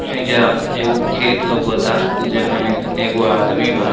एइजा एगो खेत लउकता जे में एगो आदमी बा।